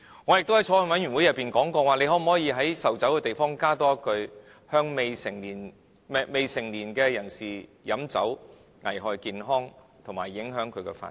我也在法案委員會內提出，可否在售酒的地方加多一句：未成年人士飲酒會危害健康及影響自身發展。